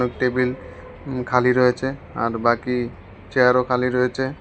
আর table উম খালি রয়েছে আর বাকি চেয়ার -ও খালি রয়েচে।